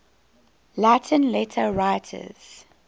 latin letter writers